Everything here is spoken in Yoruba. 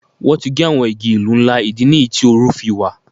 Wọ́n ti gé àwọn igi ìlú ńlá, ìdí nìyí tí oru fi wà.